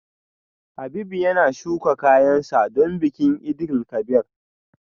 Habib yana shuka kayan sa don bikin Eid El Kabir